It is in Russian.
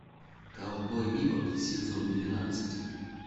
ковбой бибоп сезон двенадцать